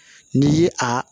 N'i ye a